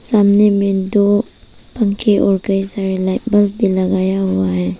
सामने में दो पंखे और कई सारे लाइट बल्ब भी लगाया हुआ है।